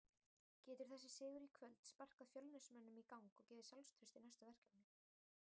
Getur þessi sigur í kvöld sparkað Fjölnismönnum í gang og gefið sjálfstraust í næstu verkefni?